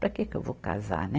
Para que que eu vou casar, né?